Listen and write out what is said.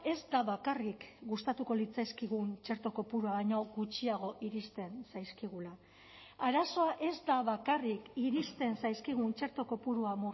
ez da bakarrik gustatuko litzaizkigun txerto kopurua baino gutxiago iristen zaizkigula arazoa ez da bakarrik iristen zaizkigun txerto kopurua